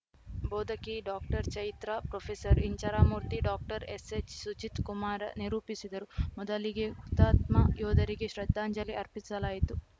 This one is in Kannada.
ಬೋಧಕಿ ಡಾಕ್ಟರ್ಚೈತ್ರಾ ಪ್ರೊಫೆಸರ್ ಇಂಚರಾಮೂರ್ತಿ ಡಾಕ್ಟರ್ ಎಸ್‌ಎಚ್‌ಸುಜಿತ್‌ಕುಮಾರ ನಿರೂಪಿಸಿದರು ಮೊದಲಿಗೆ ಹುತಾತ್ಮ ಯೋಧರಿಗೆ ಶ್ರದ್ಧಾಂಜಲಿ ಅರ್ಪಿಸಲಾಯಿತು